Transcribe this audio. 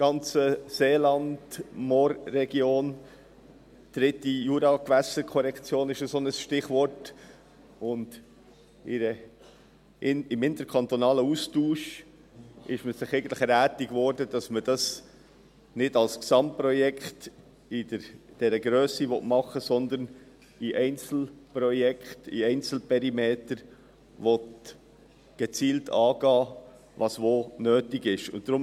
Die dritte Juragewässerkorrektion ist ein solches Stichwort, und im interkantonalen Austausch wurde man sich einig, dass man dies nicht als Gesamtprojekt in dieser Grösse machen will, sondern die Einzelprojekte in Einzelperimetern gezielt angehen will, je nachdem, wo was nötig ist.